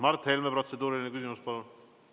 Mart Helme, protseduuriline küsimus, palun!